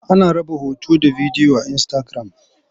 Ana raba hoto da bidiyo a Insitagiram.